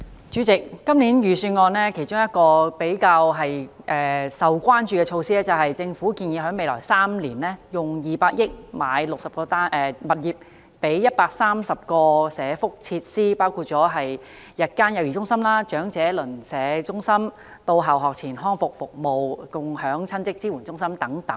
主席，今年財政預算案其中一項較為受關注的措施，是政府建議在未來3年，撥款200億元購買60個物業，以供營辦130多項社福設施，包括日間幼兒中心、長者鄰舍中心、到校學前康復服務、共享親職支援中心等。